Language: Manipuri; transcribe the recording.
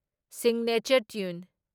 signature tune